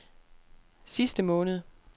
sidste måned